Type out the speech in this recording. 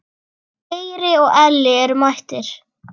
Geiri og Elli eru mættir.